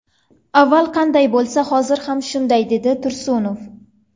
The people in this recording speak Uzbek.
Avval qanday bo‘lsa, hozir ham shunday dedi Tursunov.